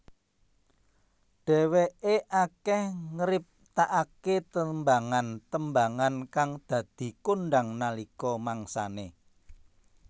Dheweké akeh ngriptakaké tembangan tembangan kang dadi kondhang nalika mangsane